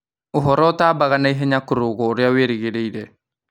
Ũhoro ũtatambaga naihenya kũrũga ũrĩa wĩrĩgĩrĩire